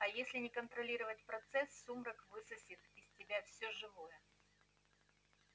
а если не контролировать процесс сумрак высосет из тебя всё живое